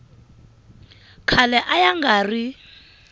khale a ya nga ri